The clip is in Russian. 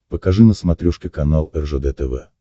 покажи на смотрешке канал ржд тв